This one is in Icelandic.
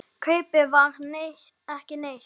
Kaupið var ekki neitt.